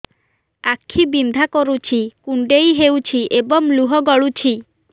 ଆଖି ବିନ୍ଧା କରୁଛି କୁଣ୍ଡେଇ ହେଉଛି ଏବଂ ଲୁହ ଗଳୁଛି